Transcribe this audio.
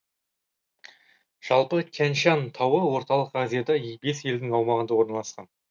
жалпы тянь шань тауы орталық азияда бес елдің аумағында орналасқан